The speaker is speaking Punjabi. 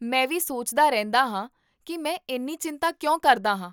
ਮੈਂ ਵੀ ਸੋਚਦਾ ਰਹਿੰਦਾ ਹਾਂ ਕੀ ਮੈਂ ਇੰਨੀਂ ਚਿੰਤਾ ਕਿਉਂ ਕਰਦਾ ਹਾਂ